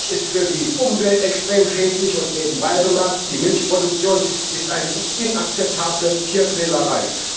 Milch ist für die Umwelt extrem schädlich, und, nebenbei bemerkt, die Milchproduktion ist eine inakzeptable Tierquälerei.